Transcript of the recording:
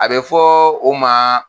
A be fɔ o ma